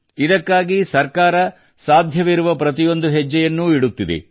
ಇದಕ್ಕಾಗಿ ಸರ್ಕಾರ ಸಾಧ್ಯವಿರುವ ಪ್ರತಿಯೊಂದು ಹೆಜ್ಜೆಯನ್ನೂ ಇಡುತ್ತಿದೆ